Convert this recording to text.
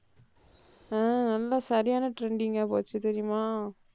ஆஹ் நல்ல சரியான trending ஆ போச்சு தெரியுமா?